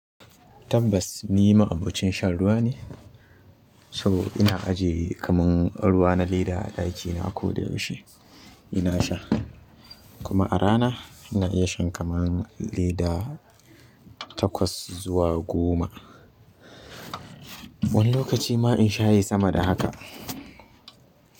Tabbas ni ma'abocin shan ruwa ne, saboda ina ajiye kamar ruwa na leda a ɗakina a koda yaushe ina sha. Kuma a rana ina iya shan kaman leda kaman takwas zuwa goma. Wani lokaci ma insha yayi sama da haka.